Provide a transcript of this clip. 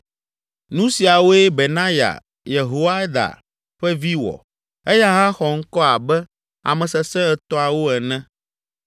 Nu siawoe Benaya, Yehoiada ƒe vi wɔ. Eya hã xɔ ŋkɔ abe ame sesẽ etɔ̃awo ene.